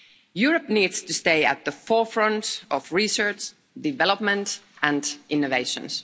Europe needs to stay at the forefront of research, development and innovations.